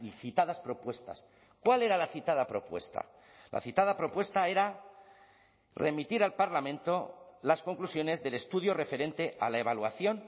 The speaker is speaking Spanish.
citadas propuestas cuál era la citada propuesta la citada propuesta era remitir al parlamento las conclusiones del estudio referente a la evaluación